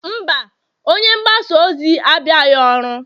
mba, onye mgbasa ozi abịaghị ọrụ